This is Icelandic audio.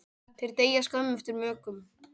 þeir deyja skömmu eftir mökun